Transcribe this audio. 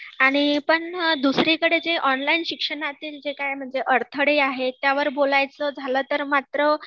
आणि पण दुसरीकडे जे ऑनलाइन शिक्षणतील जे काय म्हणजे अडथळे आहेत, त्यावर बोलायचं झालं तर मात्र